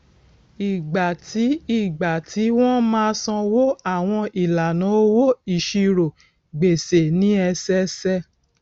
ìgbà tí ìgbà tí wọn máa sanwó àwọn ìlànà owó ìṣirò gbèsè ní ẹsẹẹsẹ